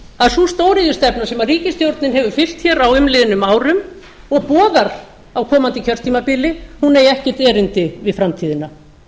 að sú stóriðjustefna sem ríkisstjórnin hefur fylgt hér á umliðnum árum og boðar á komandi kjörtímabili eigi ekkert erindi við framtíðina